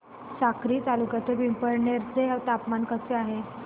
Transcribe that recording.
साक्री तालुक्यातील पिंपळनेर चे तापमान कसे आहे